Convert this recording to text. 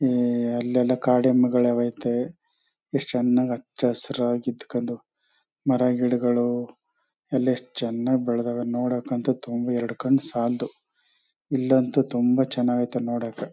ಹ್ಮ್ಮ್ಮ್ ಈ ಅಲ್ಲೆಲ್ಲ ಕಾಡ್ ಎಮ್ಮೆಗಳ್ ಅವ್ ಐತೆ. ಎಷ್ಟ್ ಚನ್ನಾಗ್ ಅಚ್ಚ ಹಸ್ರಾಗ್ ಇಡ್ಕೊಂಡು ಮರಗಿಡಗಳು ಎಲ್ಲ ಎಷ್ಟ್ ಚನಾಗ್ ಬೆಳ್ದವೆ ನೋಡಕ್ ಅಂತೂ ತುಂಬ್ ಎರಡ್ ಕಣ್ ಸಾಲದು.ಇಲ್ಲಂತೂ ತುಂಬಾ ಚೆನ್ನಾಗೈತೆ ನೋಡಕ್ಕ.